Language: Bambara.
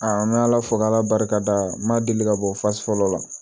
n bɛ ala fo k'ala barika da n ma deli ka bɔ fasi fɔlɔ la